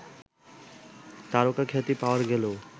তারকাখ্যাতি পাওয়া গেলেও